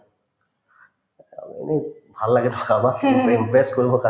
মোক ভাল impress কৰিবৰ কাৰণে